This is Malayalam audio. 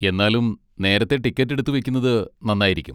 എന്നാലും നേരത്തെ ടിക്കറ്റ് എടുത്തു വെക്കുന്നത് നന്നായിരിക്കും.